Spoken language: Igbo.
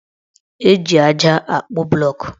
Eji aja akpụ blọọkụ